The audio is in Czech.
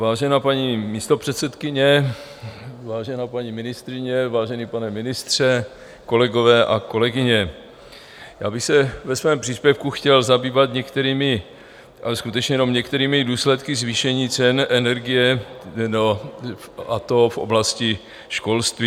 Vážená paní místopředsedkyně, vážená paní ministryně, vážený pane ministře, kolegové a kolegyně, já bych se ve svém příspěvku chtěl zabývat některými, ale skutečně jenom některými důsledky zvýšení cen energie, a to v oblasti školství.